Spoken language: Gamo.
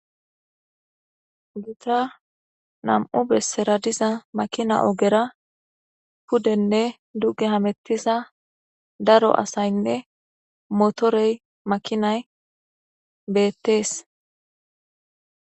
gita nam7u bessera diza makina ogera puddenne duge hamettisa daro asaynne motorey makinay beettees